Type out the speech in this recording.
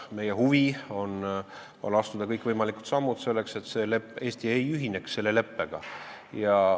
Meie huvi on astuda kõikvõimalikud sammud, selleks et Eesti ei ühineks selle leppega.